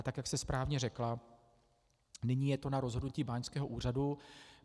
A tak jak jste správně řekla, nyní je to na rozhodnutí báňského úřadu.